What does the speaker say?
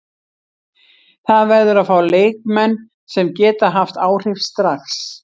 Það verður að fá leikmenn sem geta haft áhrif strax.